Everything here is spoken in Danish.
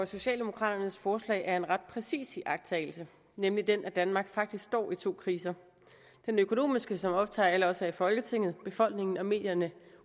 socialdemokraternes forslag er en ret præcis iagttagelse nemlig den at danmark faktisk står i to kriser den økonomiske som optager alle os i folketinget befolkningen og medierne